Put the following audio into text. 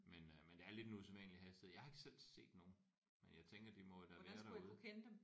Men øh men det er lidt en usædvanlig hastighed jeg har ikke selv set nogen men jeg tænker de må jo da være derude